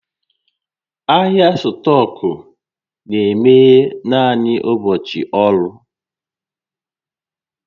Ahịa stọkụ na-emeghe naanị n'ụbọchị ọrụ